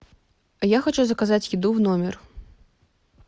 я хочу заказать еду в номер